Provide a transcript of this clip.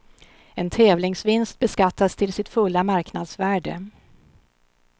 En tävlingsvinst beskattas till sitt fulla marknadsvärde.